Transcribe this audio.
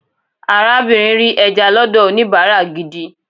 arabinrin ri eja lọdọ onibara gidi